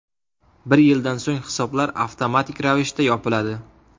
Bir yildan so‘ng hisoblar avtomatik ravishda yopiladi.